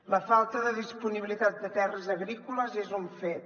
la falta de disponibilitat de terres agrícoles és un fet